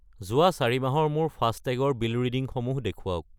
যোৱা 4 মাহৰ মোৰ ফাষ্টেগ ৰ বিল ৰিডিংসমূহ দেখুৱাওক।